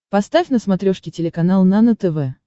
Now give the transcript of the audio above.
поставь на смотрешке телеканал нано тв